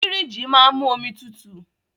Fìríjìì máa ń mú omi tutù.